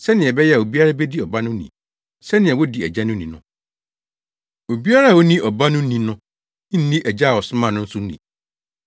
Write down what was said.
sɛnea ɛbɛyɛ a obiara bedi Ɔba no ni, sɛnea wodi Agya no ni no. Obiara a onni Ɔba no ni no nni Agya a ɔsomaa no no nso ni.